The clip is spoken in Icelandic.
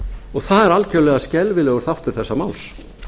og það er algjörlega skelfilegur þáttur þessa máls